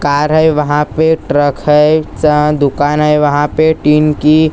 car है वहां पे ट्रक है च दुकान है वहां पे टीन की--